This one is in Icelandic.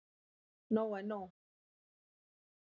Nóg er nú.